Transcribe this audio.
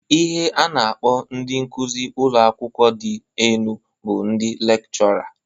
Ihe a na- akpọ ndị nkụzị ụlọakawụkwọ dị enu bụ ndị lekchọra.